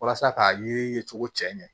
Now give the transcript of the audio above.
Walasa k'a ye cogo cɛ ɲɛ